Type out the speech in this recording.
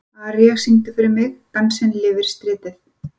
Aría, syngdu fyrir mig „Dansinn lifir stritið“.